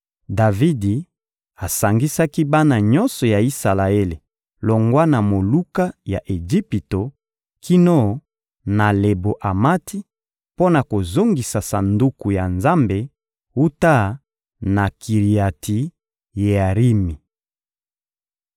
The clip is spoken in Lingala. Davidi asangisaki bana nyonso ya Isalaele longwa na moluka ya Ejipito kino na Lebo-Amati, mpo na kozongisa Sanduku ya Nzambe wuta na Kiriati-Yearimi.